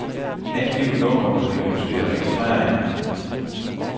Angiv nummeret på de ønskede registreringer.